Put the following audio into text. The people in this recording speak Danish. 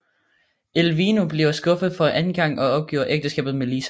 Elvino bliver skuffet for anden gang og opgiver ægteskabet med Lisa